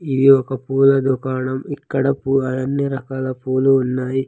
ఇది ఒక పూల దుకాణం ఇక్కడ పూ-- అన్ని రకాల పూలు ఉన్నాయి.